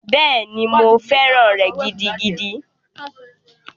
Bẹ́ẹ̀ni, mo fẹ́ràn rẹ̀ gidigidi.